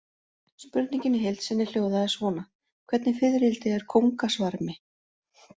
Spurningin í heild sinni hljóðaði svona: Hvernig fiðrildi er kóngasvarmi?